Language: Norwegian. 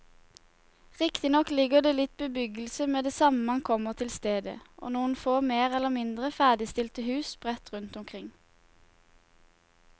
Riktignok ligger det litt bebyggelse med det samme man kommer til stedet og noen få mer eller mindre ferdigstilte hus sprett rundt omkring.